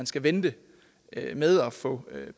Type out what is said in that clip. skal vente med at få